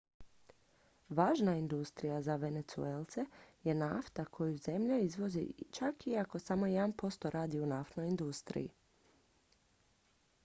važna industrija za venezuelce je nafta koju zemlja izvozi čak iako samo jedan posto radi u naftnoj industriji